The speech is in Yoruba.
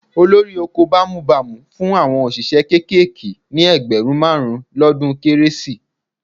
Olórí oko bámúbamù fún àwọn òṣìṣẹ́ kéékèèké ní ẹgbẹ̀rún márùn-ún lọ́dún Kérésì